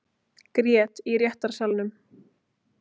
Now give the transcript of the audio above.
Grét í réttarsalnum